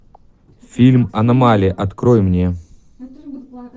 фильм аномалия открой мне